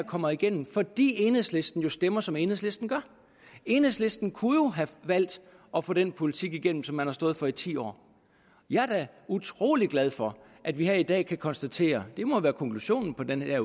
kommer igennem fordi enhedslisten stemmer som enhedslisten gør enhedslisten kunne jo have valgt at få den politik igennem som man har stået for i ti år jeg er da utrolig glad for at vi her i dag kan konstatere det må være konklusionen på den her